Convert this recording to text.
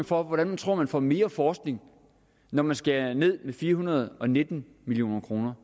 for hvordan man tror at man får mere forskning når man skærer ned med fire hundrede og nitten million kroner